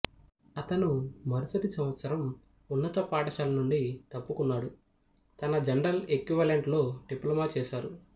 అతను మరుసటి సంవత్సరం ఉన్నత పాఠశాల నుండి తప్పుకున్నాడు తన జనరల్ ఎక్వివలెంట్ లో డిప్లొమా చేశారు